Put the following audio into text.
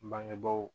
Bangebaaw